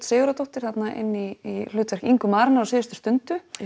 Sigurðardóttir þarna inn í hlutverk Ingu á síðustu stundu